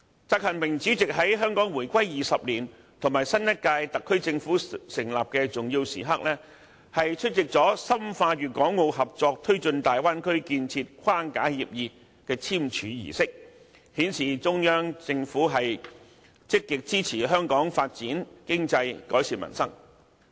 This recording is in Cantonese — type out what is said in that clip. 習近平主席在香港回歸20年及新一屆特區政府成立的重要時刻，出席了《深化粵港澳合作推進大灣區建設框架協議》的簽署儀式，顯示中央政府積極支持香港發展經濟，改善民生。